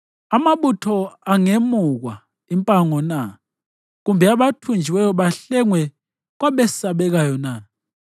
Amabutho angemukwa impango na, kumbe abathunjiweyo bahlengwe kwabesabekayo na?